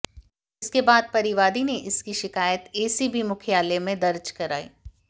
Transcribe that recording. इसके बाद परिवादी ने इसकी शिकायत एसीबी मुख्यालय में दर्ज कराई